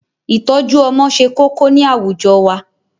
Ìtọ́jú Ọmọ se kókó ni àwùjọ wa